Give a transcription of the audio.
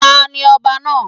Tani ọba náà?